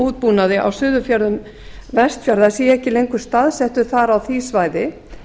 útbúnaði á suðurfjörðum vestfjarða sé ekki lengur staðsettur þar á því svæði